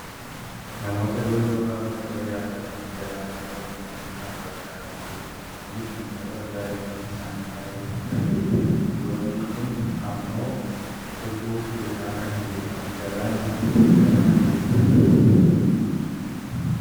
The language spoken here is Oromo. Namoota doonii yookaan maarkaba yaabbatanii galaana irra deemaa jiran argaa kan jirrudha. Kunis namoota baayyinni isaanii baayyee guddaa ta'edha. Dooniin kun ammoo kufuuf jedhaa kan jirudha. Galaanni kun galaana eessaati?